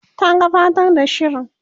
ta gabatar da shirin